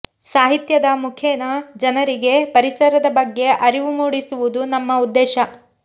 ಸಾಹಿತ್ಯದ ಮುಖೇನ ಜನರಿಗೆ ಪರಿಸರದ ಬಗ್ಗೆ ಅರಿವು ಮೂಡಿಸುವುದು ನಮ್ಮ ಉದ್ದೇಶ